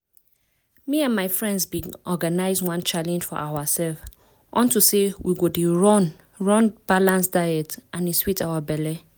me and my friends bin organize one challenge for ourself unto say we go dey run run balanced diets and e sweet our belle.